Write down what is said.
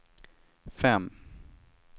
fem